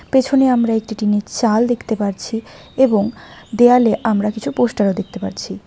পেছনে আমরা একটি টিন এর চাল দেখতে পারছি এবং দেয়ালে আমরা কিছু পোস্টার ও দেখতে পাচ্ছি।